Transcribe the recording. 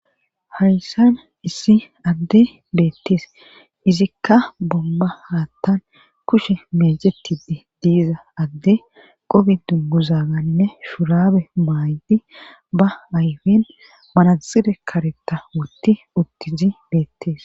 hayssan issi adde beettees izikka bomba haattan kushe mesetidi diiza adde qobidu muzaganne shurabe maaydi ba ayfen manazire karetta wotti uttizi beettees